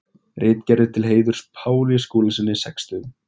Ritgerðir til heiðurs Páli Skúlasyni sextugum.